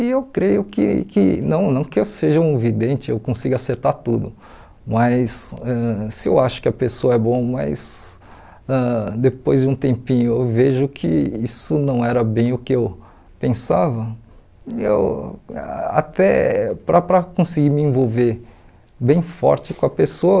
E eu creio que que, não não que eu seja um vidente, eu consiga acertar tudo, mas ãh se eu acho que a pessoa é boa, mas ãh depois de um tempinho eu vejo que isso não era bem o que eu pensava, eu até para para conseguir me envolver bem forte com a pessoa,